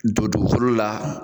Don dugukolo la